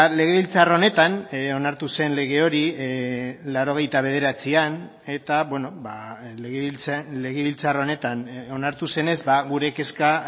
legebiltzar honetan onartu zen lege hori laurogeita bederatzian eta legebiltzar honetan onartu zenez gure kezka